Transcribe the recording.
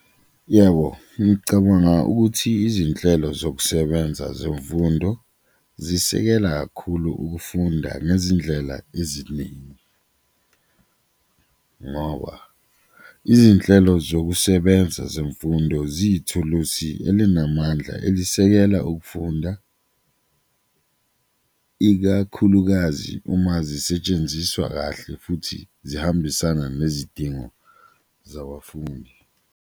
Yebo, ngicabanga ukuthi izinhlelo zokusebenza zemfundo zisekela kakhulu ukufunda ngezindlela eziningi ngoba izinhlelo zokusebenza zemfundo ziyithulusi elinamandla elisekela ukufunda, ikakhulukazi uma zisetshenziswa kahle futhi zihambisana nezidingo zabafundi.